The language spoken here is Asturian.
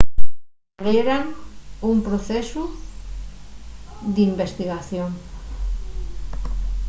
abrieran un procesu d'investigación